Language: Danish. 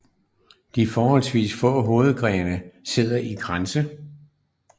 De forholdsvist få hovedgrene sidder i kranse